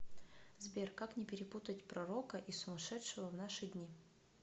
сбер как не перепутать пророка и сумашедшего в наши дни